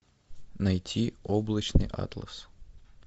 найти облачный атлас